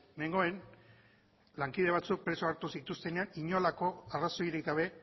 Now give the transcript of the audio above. nengoen lankide batzuk preso hartu zituztenean inolako arrazoirik gabe